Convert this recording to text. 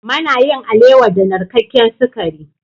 Mana yin alewa da narkaken sakari.